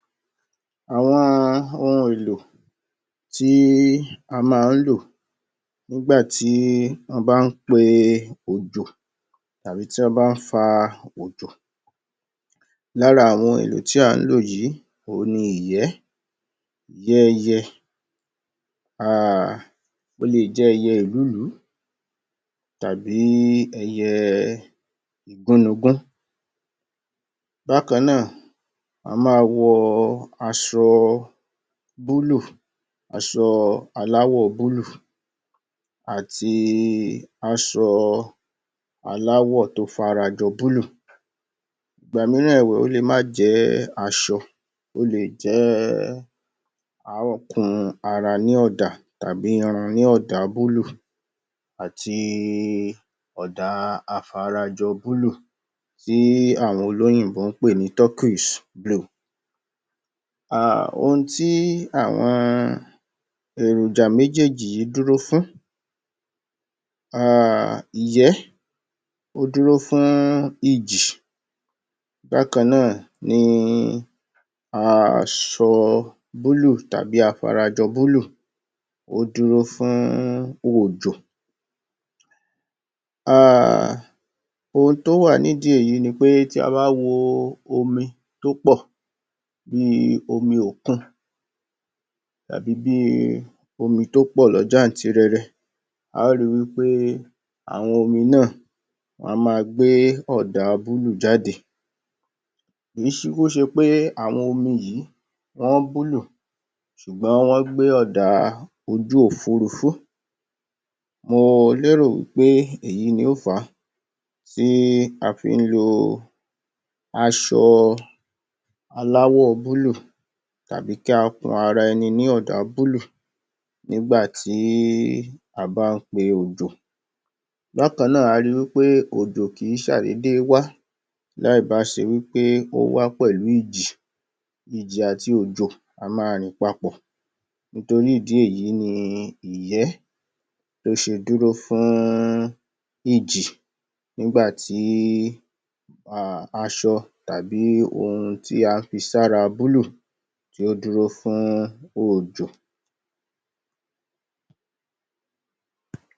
Àwọn ohun èlò tí a má ń lò nígbàtí wọ́n bá ń pe òjò tàbí tí wọ́n bá ń fa òjò. Lára àwọn èlò tí à ń lò yìí, òhun ni ìyẹ́ ìyẹ́ ẹyẹ um ó lè jẹ́ ẹyẹ Èlúùlú tàbí ẹyẹ Igúnnugú. Bákan náà, a máa wọ aṣọ búlúù, aṣọ aláwọ̀ búlúù àti aṣọ aláwọ̀ tó farajọ búlúù. Ìgbà mííràn ẹ̀wẹ̀, ó lè má jẹ́ aṣọ ó lè jẹ́ á ò kun ara ní ọ̀dà tàbí irun ní ọ̀dà búlúù àti i ọ̀dà afarajọ búlúù tí àwọn olóyìnbó ń pè ní turquoise blue. A, ohun tí àwọn èròjà méjéèjì dúró fún a a, ìyẹ́, ó dúró fún ìjì. Bákan náà ni aṣọ búlúù tàbí afarajọ búlúù, ó dúró fún òjò um ohun tí ó wà ní ìdí èyí ni pé, tí a ba wo omi tó pọ̀, bí i omi òkun tàbí bí i omi tó pọ̀ lọ jáàntirẹrẹ, a o ri wí pé àwọn omi náà wọ́n á ma gbé ọ̀dà búlúù jáde. Kìí kúkú ṣe pé àwọn omi yìí wọ́n búlúù ṣùgbọ́n wọ́n gbé ọ̀dà ojú-òfúúrufú. Mo lérò wí pé èyí ni ó fàá tí a fí ń lo aṣọ aláwọ̀ búlúù tàbí kí a kun ara ẹni ní ọ̀dà búlúù nígbàtí a bá ń pe òjò. Bákan náà, a ri wí pé òjò kìí ṣàdédé wá láì bá ṣe wí pé ó wá pẹ̀lú ìjì. Ìjì àti òjò, á máa rìn papọ̀, nítorí ìdí èyí ni ìyẹ́, ó ṣe dúró fún-ún ìjì nígbàtí um aṣọ tàbí ohun tí a fi sí ara búlúù tí ó dúró fún òjò.